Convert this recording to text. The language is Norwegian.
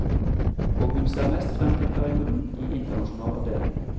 Og hun ser mest frem til perioden i internasjonal avdeling.